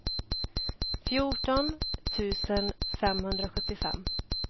fjorton tusen femhundrasjuttiofem